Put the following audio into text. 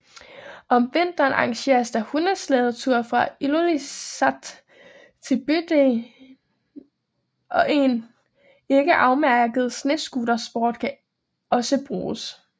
Om vinteren arrangeres der hundeslædeture fra Ilulissat til bygden og en ikke afmærket snescooterspor kan også bruges